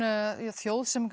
þjóð sem